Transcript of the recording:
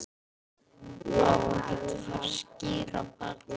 Á ekkert að fara að skíra barnið?